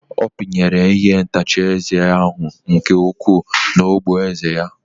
Ọ pinyere ihe ntacha eze ahụ nke ukwuu n'ogboeze ya.